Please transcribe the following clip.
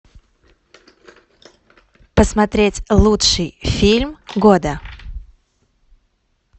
посмотреть лучший фильм года